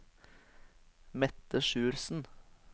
Mette Sjursen